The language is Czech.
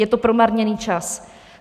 Je to promarněný čas.